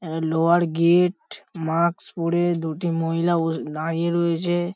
আঁ লোহার gate mask পরে দুটি মহিলা বসে দাঁড়িয়ে রয়েছে।